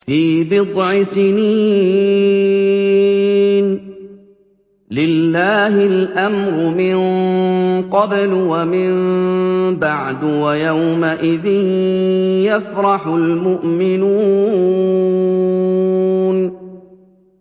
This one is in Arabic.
فِي بِضْعِ سِنِينَ ۗ لِلَّهِ الْأَمْرُ مِن قَبْلُ وَمِن بَعْدُ ۚ وَيَوْمَئِذٍ يَفْرَحُ الْمُؤْمِنُونَ